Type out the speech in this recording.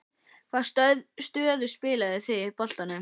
Hvaða stöðu spiluðuð þið í boltanum?